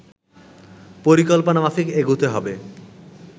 পরিকল্পনা মাফিক এগুতে হবে